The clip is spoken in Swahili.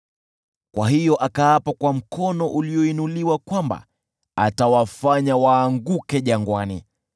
Kwa hiyo akaapa kwa mkono ulioinuliwa kwamba atawafanya waanguke jangwani,